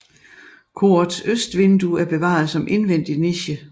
Korets østvindue er bevaret som indvendig niche